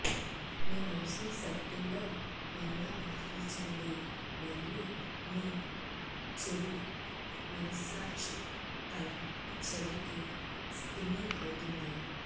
మీ మౌస్ను సర్కిల్ల్లో మరలా మరల్చండి మరియు మీ చెడు మనస్సాక్షి తల చివరికి స్పిన్నింగ్ అవుతుంది